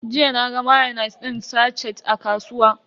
Jiya naga mayonis din sache a kasuwa.